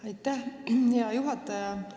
Aitäh, hea juhataja!